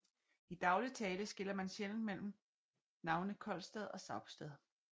I daglig tale skiller man sjældent mellem navnene Kolstad og Saupstad